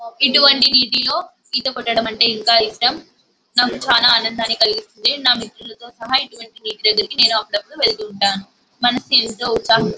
ఇటువంటి వీధిలో ఈత కొట్టడం ఇంకా ఇష్టం. నాకు చాల ఆన్నదాన్ని కలిగిస్తుంది. నా మిత్రులతో కలిసి అప్పుడప్పు నేను వెళ్తుంటాను.